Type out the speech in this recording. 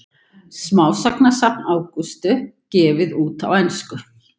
Smásagnasafn Ágústs gefið út á ensku